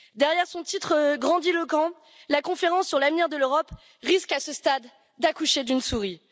Derrière son titre grandiloquent, la conférence sur l'avenir de l'Europe risque à ce stade d'accoucher d'une souris.